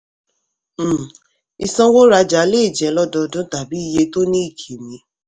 um ìsanwó-rajá lè jẹ́ lọ́dọọdun tàbí iye tó ní ìkìmí.